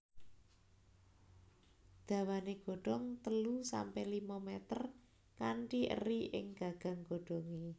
Dawané godong telu sampe limo mèter kanthi eri ing gagang godhongé